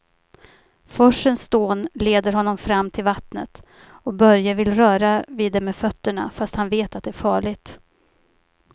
Forsens dån leder honom fram till vattnet och Börje vill röra vid det med fötterna, fast han vet att det är farligt.